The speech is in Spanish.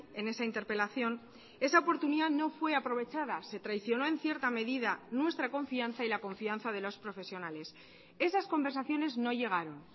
en esa interpelación esa oportunidad no fue aprovechada se traicionó en cierta medida nuestra confianza y la confianza de los profesionales esas conversaciones no llegaron